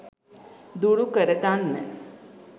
දුරු කර ගන්න.